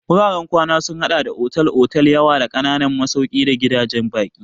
Wuraren kwana sun haɗa da otal-otal da yawa da ƙananan masauki da gidajen baƙi.